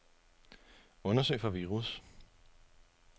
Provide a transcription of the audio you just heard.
Undersøg for virus.